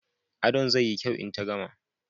Adon zai yi kyau in ta gama